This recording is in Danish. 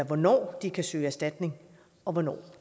hvornår de kan søge erstatning og hvornår